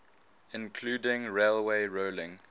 including railway rolling